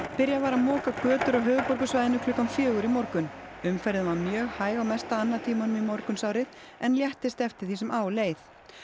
byrjað var að moka götur á höfuðborgarsvæðinu klukkan fjögur í morgun umferðin var mjög hæg á mesta annatímanum í morgunsárið en léttist eftir því sem á leið